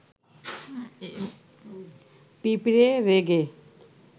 পিঁপড়ে রেগে